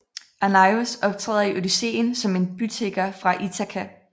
Arnaios optræder i Odysseen som en bytigger fra Ithaka